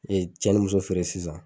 cɛ ni muso feere sisan.